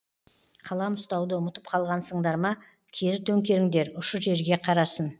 қалам ұстауды ұмытып қалғансыңдар ма кері төңкеріңдер ұшы жерге қарасын